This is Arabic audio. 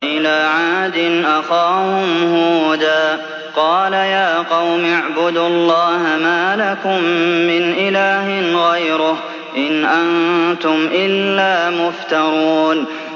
وَإِلَىٰ عَادٍ أَخَاهُمْ هُودًا ۚ قَالَ يَا قَوْمِ اعْبُدُوا اللَّهَ مَا لَكُم مِّنْ إِلَٰهٍ غَيْرُهُ ۖ إِنْ أَنتُمْ إِلَّا مُفْتَرُونَ